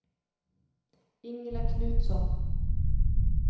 Ingela Knutsson